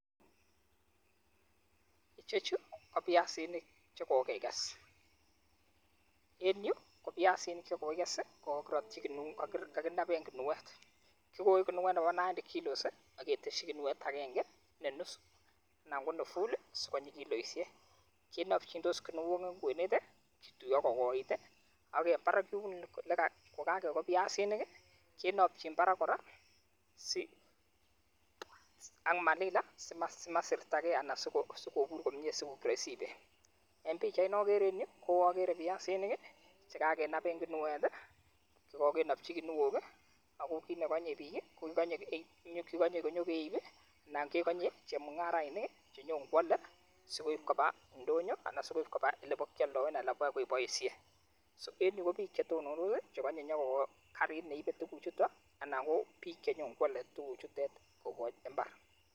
Icheju ko biasinik che kogekes, en yu ko biasinik che kogikes ii kokaginab en guniet. Kigoe guniet nebo naindi kilos ak keteshi guniet agenge ne nusu anan ko ne full asi konyi kiloishek. Kenobjindos guniok en kwenet ii, kituyo kogoit ak en barak yun kogakegoo biasinik iii kinobjin barak kora ak malila simasertage anan sikobur komye sikoik roisi en ibet. En pichait nogeree en yu koagere piasinik ii chekagenab en guniet ii, kogonobji guniok ii ago kit negonye biik ii kogonye kinyo keib ii, anan kegonye chemung'arainik ii chenyon koale asi koib koba ndonyo anan sikoib koba ole bokeoldoen anan olekibokeboishen. So en yu ko biik che tonondos ii kogonye konyokogoo karit ne ibe tuguchuto anan ko biik che nyon koale tuguchutet koboch mbar.